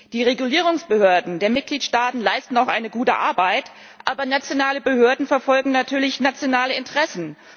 Die Regulierungsbehörden der Mitgliedstaaten leisten auch gute Arbeit, aber nationale Behörden verfolgen natürlich nationale Interessen.